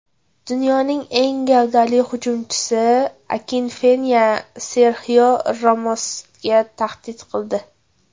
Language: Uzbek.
Dunyoning eng gavdali hujumchisi Akinfenva Serxio Ramosga tahdid qildi .